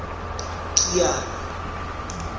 kiana